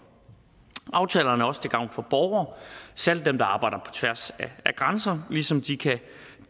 aftalerne er også til gavn for borgere særlig dem der arbejder på tværs af grænser ligesom de kan